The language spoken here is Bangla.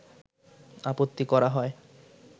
আপত্তি করা হয়